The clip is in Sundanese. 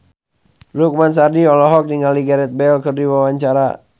Lukman Sardi olohok ningali Gareth Bale keur diwawancara